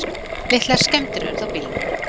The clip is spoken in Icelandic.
Litlar skemmdir urðu á bílnum